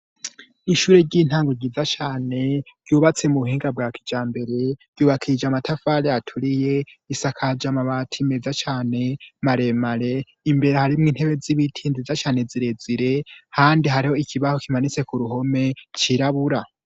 Ishure ry'intango ryiza cane ryubatse mu buhinga bwa kija mbere ryubakije amatafale aturiye isakaja mabati meza cane maremare imbere harimwo intebe z'ibitinziza cane zirezire handi hariho ikibaho kimanitse ku ruhome cirabura.